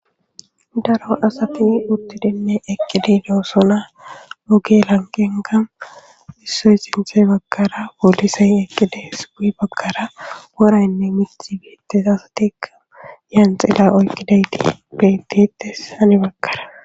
daro asati uttidinne eqqidi doosona oge lanqenenka issoy sinthe bagkara polisay eqqides guye bagara woraynne mithi betes, asatikka yanxila oykkidayti betetes hani bakkara